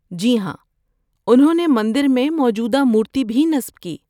‏جی ہاں، انھوں نے مندر میں موجودہ مورتی بھی نصب کی